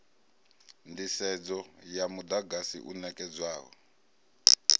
nḓisedzo ya muḓagasi u ṋekedzwaho